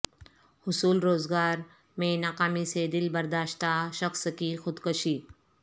حصول روزگار میں ناکامی سے دل برداشتہ شخص کی خودکشی